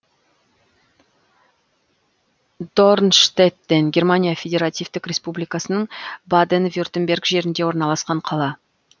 дорнштеттен германия федеративтік республикасының баден вюртемберг жерінде орналасқан қала